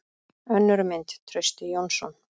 Önnur mynd: Trausti Jónsson.